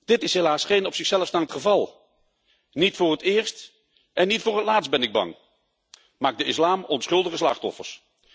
Dit is helaas geen op zichzelf staand geval. Niet voor het eerst en niet voor het laatst ben ik bang, maakt de islam onschuldige slachtoffers.